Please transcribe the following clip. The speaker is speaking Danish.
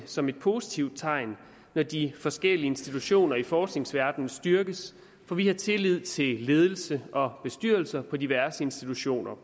som et positivt tegn når de forskellige institutioner i forskningsverdenen styrkes for vi har tillid til ledelse og bestyrelser på diverse institutioner